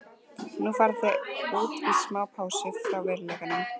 Nú fara þau út í smá pásu frá veruleikanum.